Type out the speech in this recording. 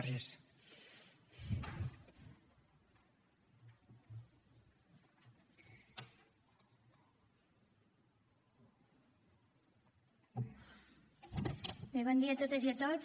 bé bon dia a totes i a tots